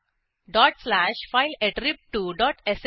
000945 000944 up arrow दाबा